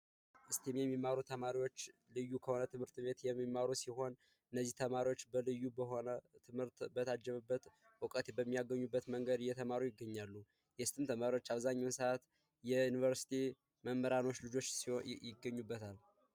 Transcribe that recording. የእስቲም ተማሪዎች ልዩ ከሆነ ትምህርት ቤት የሚማሩ ሲሆን እውቀት በሚያገኙበት እና ልዩ በሆነ መንገድ እየተማሩ ይገኛሉ የእስቲም ተማሪዎች በብዛት የዩኒቨርሲቲ መምህራን ልጆች ይገኙበታል።